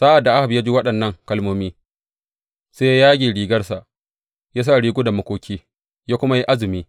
Sa’ad da Ahab ya ji waɗannan kalmomi, sai ya yage rigarsa, ya sa rigunan makoki, ya kuma yi azumi.